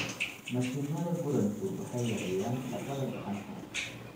Mashiinnada gurantu waxay yareeyaan shaqada gacanta.